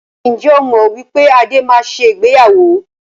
Ǹjẹ́ o mọ wípé Adé máa ṣe ìgbéyàwó?